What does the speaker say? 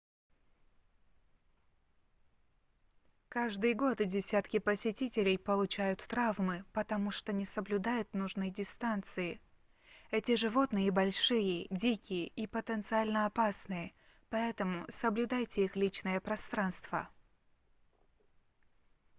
каждый год десятки посетителей получают травмы потому что не соблюдают нужной дистанции эти животные большие дикие и потенциально опасные поэтому соблюдайте их личное пространство